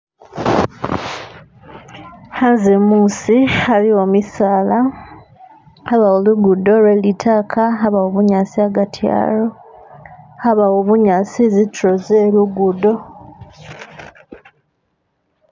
Hanze musi haliwo misaala habawo lugudo lwelitaka habawo bunyasi hagati halwo habawo bunyasi zituro zelugudo.